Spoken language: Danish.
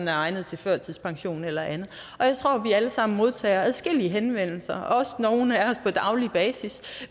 er egnet til førtidspension eller andet jeg tror at vi alle sammen modtager adskillige henvendelser også nogle af os på daglig basis